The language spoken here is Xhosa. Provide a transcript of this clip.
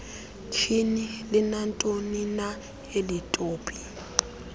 tyhini linantonina elitopi